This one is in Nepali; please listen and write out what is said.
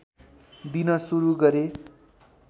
दिन सुरु गरे